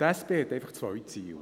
Die SP hat einfach zwei Ziele.